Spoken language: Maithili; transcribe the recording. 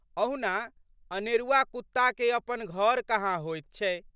अहुना अनेरुआ कुत्ताके अपन घर कहाँ होइत छै।